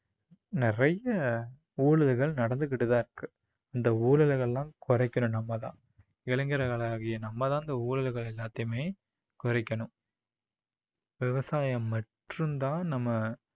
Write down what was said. நிறைய நடந்துக்கிட்டு தான் இருக்கு. இந்த ஊழல்களை எல்லாம் குறைக்கணும் நம்ம தான். இளைஞர்களாகிய நம்ம தான் இந்த ஊழல்கள் எல்லாத்தையுமே குறைக்கணும் விவசாயம் மட்டும் தான் நம்ம